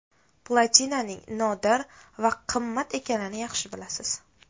Platinaning nodir va qimmat ekanini yaxshi bilasiz.